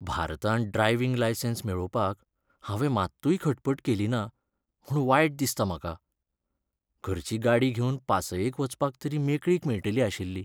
भारतांत driving licence मेळोवपाक हांवें मात्तूय खटपट केली ना म्हूण वायट दिसता म्हाका. घरची गाडी घेवन पासयेक वचपाची तरी मेकळीक मेळटलीआशिल्ली.